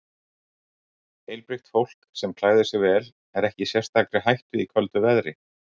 Heilbrigt fólk sem klæðir sig vel er ekki í sérstakri hættu í köldu veðri.